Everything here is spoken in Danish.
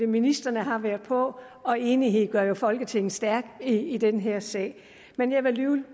ministrene har været på og enighed gør jo folketinget stærkt i den her sag men jeg vil